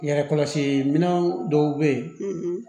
Yɛrɛ kɔlɔsi minɛn dɔw bɛ ye